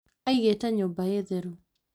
Aigĩte nyũmba ĩ theru